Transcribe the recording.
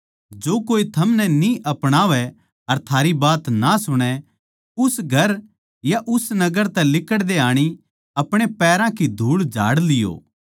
जो कोए थमनै न्ही अपणावै अर थारी बात ना सुणै उस घर या उस नगर तै लिकड़ते आणी अपणे पैरां की धूळ झाड़ लियो